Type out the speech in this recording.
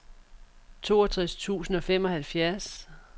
toogtres tusind og femoghalvfjerds